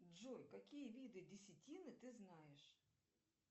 джой какие виды десятины ты знаешь